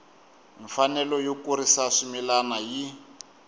mfanelo yo kurisa swimila yi